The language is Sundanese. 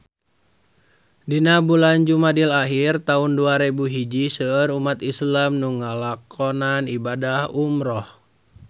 Dina bulan Jumadil ahir taun dua rebu hiji seueur umat islam nu ngalakonan ibadah umrah